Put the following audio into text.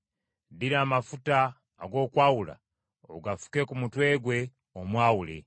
Ddira amafuta ag’okwawula ogafuke ku mutwe gwe, omwawule.